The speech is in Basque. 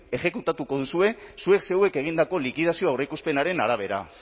exekutatuko duzue zuek zeuek egindako likidazio aurreikuspenaren arabera